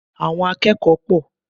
Àwọn akẹ́kọ̀ọ́ pọ̀.